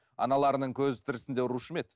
аналарының көзі тірісінде ұрушы ма еді